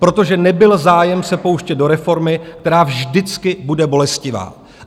Protože nebyl zájem se pouštět do reformy, která vždycky bude bolestivá.